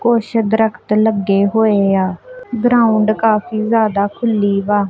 ਕੁਛ ਦਰਖਤ ਲੱਗੇ ਹੋਏ ਆ ਗਰਾਉਂਡ ਕਾਫੀ ਜਿਆਦਾ ਖੂਲੀ ਵਾ।